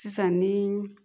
Sisan ni